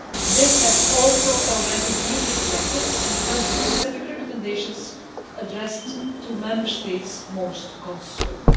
This has also already been reflected in the country specific recommendations addressed to those Member States most concerned.